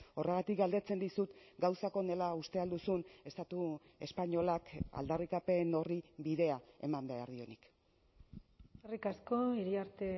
horregatik galdetzen dizut gauzak honela uste al duzun estatu espainolak aldarrikapen horri bidea eman behar dionik eskerrik asko iriarte